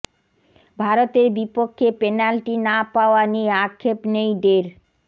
ভারতের বিপক্ষে পেনাল্টি না পাওয়া নিয়ে আক্ষেপ নেই ডের